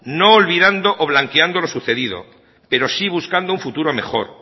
no olvidando o blanqueando lo sucedido pero sí buscando un futuro mejor